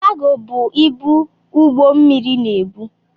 Kaago bụ ibu ụgbọ mmịrị na-ebu.